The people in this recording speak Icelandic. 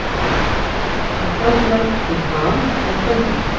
Karldýr skipta sjaldnar um ham en kvendýr.